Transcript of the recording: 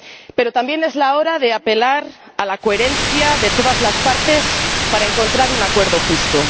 Pero también es la hora de apelar a la coherencia de todas las partes para encontrar un acuerdo justo.